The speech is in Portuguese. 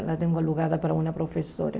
Ela tem alugada para uma professora.